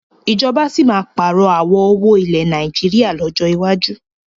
Ìjọba síí má pààrọ̀ àwọ̀ owó ilẹ̀ Nàìjíríà lọ́jọ́ iwájú